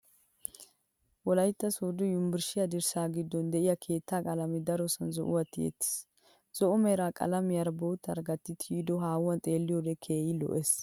Wolayitta sooddo yuunburshshiya dirssa giddon de"iya keettaa qaalamee darosay zo"uwaa tiyettis. Zo"o mera qalamiyaara boottaara gatti tiyoodee haahuwan xeelliyoodee keehin lo"ees.